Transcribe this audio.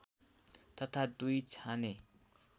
तथा दुई छाने